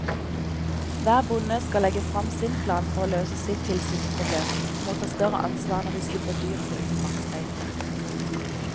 Hver bonde skal legge frem sin plan for å løse sitt tilsynsproblem og må ta større ansvar når de slipper dyr på utmarksbeite.